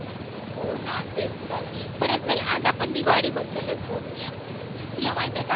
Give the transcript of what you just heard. हो ना तेच तर बरं चल आज आपण दिवाळी बद्दलच बोलूया तुला माहिती आहे का आपण